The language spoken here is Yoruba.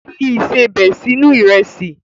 Fi ìsebẹ̀ sínú Ìrẹ́sì!